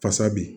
Fasa bi